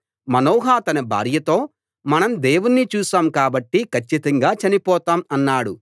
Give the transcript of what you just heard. మనోహ తన భార్యతో మనం దేవుణ్ణి చూశాం కాబట్టి కచ్చితంగా చనిపోతాం అన్నాడు